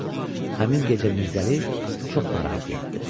Həmin gecə Mirzəli çox narahat yatdı.